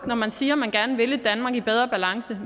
når man siger at man gerne vil et danmark i bedre balance